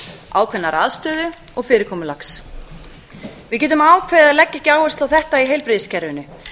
ákveðinnar aðstöðu og fyrirkomulags við getum ákveðið að leggja ekki áherslu á þetta í heilbrigðiskerfinu